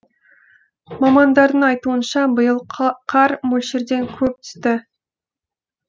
мамандардың айтуынша биыл қар мөлшерден көп түсті